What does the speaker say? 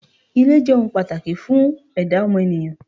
Ilé jé̩ ohun pàtàkì fún è̩dá o̩mo̩nìyàn.